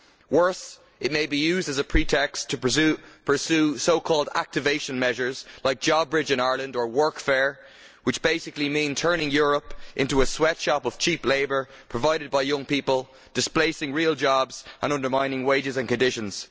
Worse, it may be used as a pretext to pursue so called activation measures like JobBridge in Ireland or workfare, which basically mean turning Europe into a sweatshop of cheap labour provided by young people, displacing real jobs, and undermining wages and conditions.